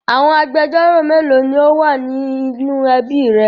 Àwọn agbẹjọ́rò mélòó ni ó wà ní inú ẹbí rẹ?